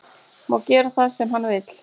Má gera það sem hann vill